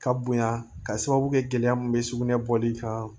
Ka bonya ka sababu kɛ gɛlɛya min bɛ sugunɛ bɔli kan